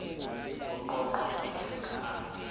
ho qoqwa ke thaka a